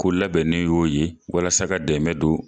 Ko labɛnnen y'o ye walasa ka dɛmɛ don